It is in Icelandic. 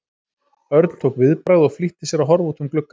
Örn tók viðbragð og flýtti sér að horfa út um glugg- ann.